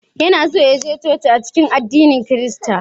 Yana so ya je coci a cikin addinin Kirista